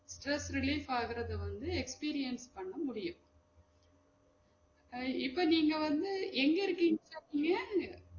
Stress relief ஆகுறது வந்து experience பண்ண முடியும் அஹ் இப்ப நீங்க வந்து எங்க இருக்கீங்க ?